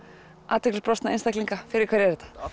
athyglisbrostna einstaklinga fyrir hverja er þetta